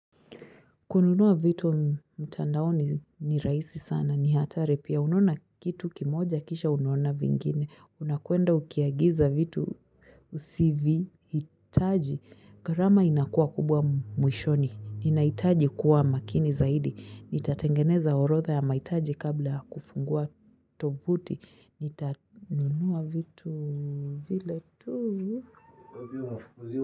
Kununua vitu mtandao ni rahisi sana ni hatari pia unaona kitu kimoja kisha unaona vingine unakwenda ukiagiza vitu usivyohitaji gharama inakuwa kubwa mwishoni ninahitaji kuwa makini zaidi nitatengeneza orodha ya mahitaji kabla kufungua tovuti nitatunua vitu vile tu.